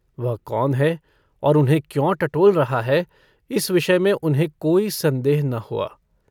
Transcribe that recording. वह कौन है और उन्हें क्यों टटोल रहा है इस विषय में उन्हें कोई सन्देह न हुआ।